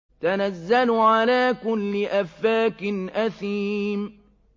تَنَزَّلُ عَلَىٰ كُلِّ أَفَّاكٍ أَثِيمٍ